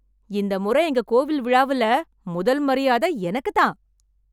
இந்த முறை எங்க கோவில் விழாவுல முதல் மரியாதைய எனக்குதான்.